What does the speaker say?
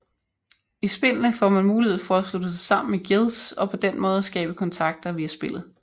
I spillene får man mulighed for at slutte sig sammen i guilds og på den måde skabe kontakter via spillet